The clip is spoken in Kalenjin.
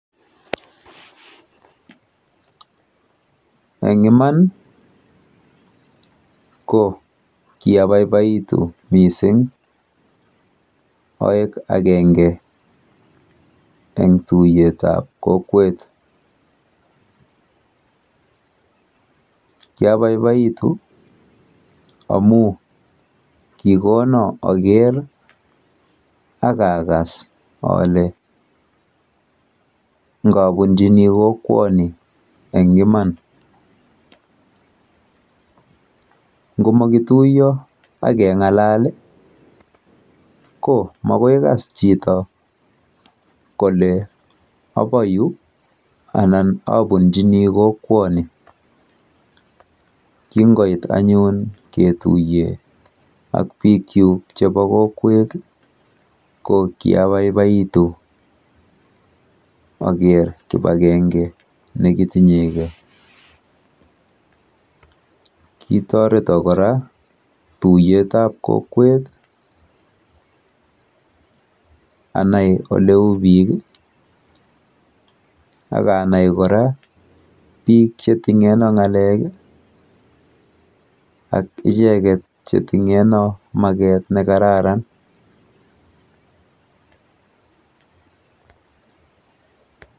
Eng iman ko kiabaibaitu mising aek akenge eng tuiyetap kokwet. Kyabaibaitu amu kikono aker akakas ale ngabunjini kokwoni eng iman. ngomakituiyo akeng'alal ko makoi kas chito kole apo yu anan abunjini kokwoni. Kingoit anyun ketuiye ak biikchuk chepo kokwet ko kiabaibaitu aker kipakenge nekitinyegei. Kitoreto kora tuiyetap kokwet anai oleu biik akanai kora biik cheting'eno ng'alek ak icheket cheting'eno maket nekararan.